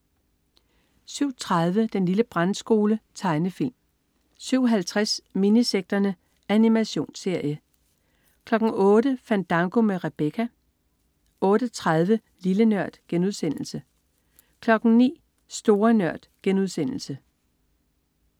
07.30 Den lille brandskole. Tegnefilm 07.50 Minisekterne. Animationsserie 08.00 Fandango med Rebecca 08.30 Lille Nørd* 09.00 Store Nørd*